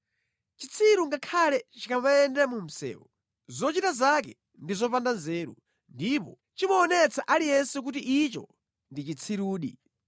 Chitsiru ngakhale chikamayenda mu msewu, zochita zake ndi zopanda nzeru ndipo chimaonetsa aliyense kuti icho ndi chitsirudi.